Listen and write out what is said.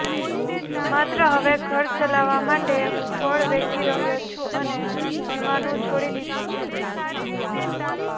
માટે હવે ઘર ચલાવવા માટે હું ફળ વેચી રહ્યો છું અને ભણવાનું છોડી દીધું છે